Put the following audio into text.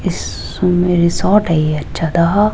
इसमें रिजॉर्ट है अच्छा सा--